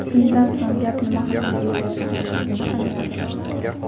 Shundan so‘ng, gap nima haqida ketayotganini angladim.